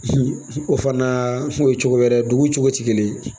o fana o ye cogo wɛrɛ ye dugu cogo tɛ kelen ye